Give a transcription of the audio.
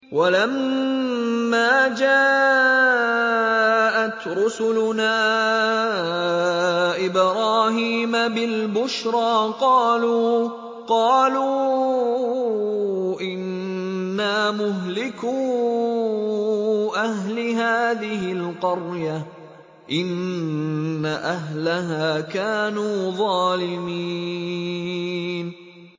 وَلَمَّا جَاءَتْ رُسُلُنَا إِبْرَاهِيمَ بِالْبُشْرَىٰ قَالُوا إِنَّا مُهْلِكُو أَهْلِ هَٰذِهِ الْقَرْيَةِ ۖ إِنَّ أَهْلَهَا كَانُوا ظَالِمِينَ